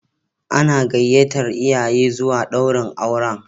Ana gayyatar iyaye zuwa daurin auren.